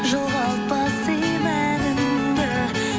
жоғалтпа сый мәніңді